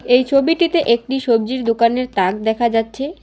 এই ছবিটিতে একটি সবজির দোকানের তাক দেখা যাচ্ছে।